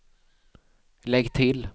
lägg till